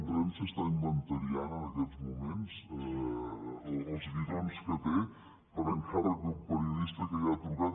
renfe està inventariant en aquests moments els bidons que té per encàrrec d’un periodista que hi ha trucat